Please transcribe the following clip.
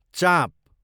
चाँप